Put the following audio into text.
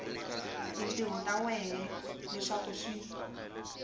tintiho ta wena leswaku swi